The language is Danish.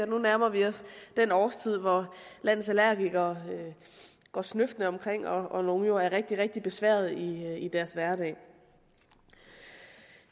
nu nærmer os den årstid hvor landets allergikere går snøftende omkring og hvor nogle jo er rigtig rigtig besværet i deres hverdag